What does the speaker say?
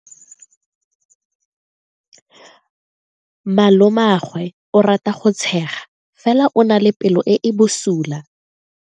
Malomagwe o rata go tshega fela o na le pelo e e bosula.